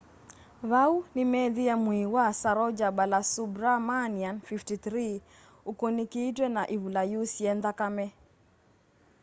vau nimeethiie mwii wa saroja balasubramanian 53 ukunikitwe na ivula yusie nthakame